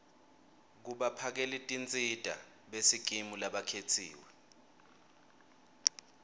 kubaphakelitinsita besikimu labakhetsiwe